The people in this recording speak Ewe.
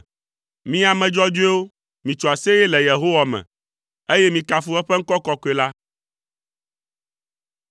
Mi ame dzɔdzɔewo, mitso aseye le Yehowa me, eye mikafu eƒe ŋkɔ kɔkɔe la.